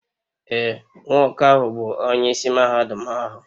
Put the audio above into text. Ee, nwoke ahụ bụ onyeisi mahadum ahu